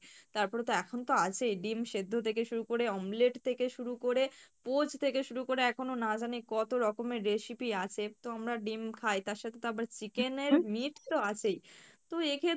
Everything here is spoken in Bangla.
তারপরে তো এখন তো আছেই ডিম সেদ্ধ থেকে শুরু করে omelet থেকে শুরু করে পোঁচ থেকে শুরু করে এখনো না জানি কত রকমের recipe আছে তো আমরা ডিম খাই তার সাথে তো আবার chicken এর meat তো আছেই, তো এই